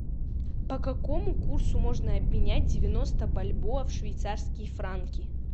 по какому курсу можно обменять девяносто бальбоа в швейцарские франки